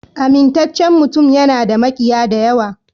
Amintaccen mutum yana da makiya da yawa.